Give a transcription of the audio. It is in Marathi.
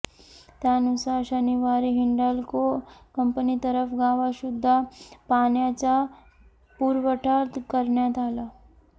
त्यानुसार शनिवारी हिंडाल्को कंपनीतर्फे गावात शुद्ध पाण्याचा पुरवठा करण्यात आला